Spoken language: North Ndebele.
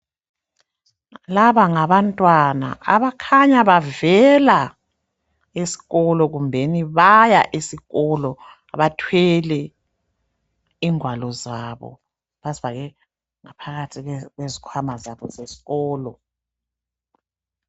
Laba ngabantwana abakhanya bavela esikolo kumbe baya esikolo, bathwele ingwalo zabo bazifake ngaphakathi kwezikhwama zabo zesikolo.